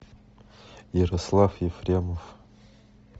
ярослав ефремов